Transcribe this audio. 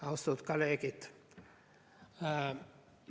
Austatud kolleegid!